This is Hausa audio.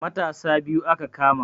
Matasa biyu aka kama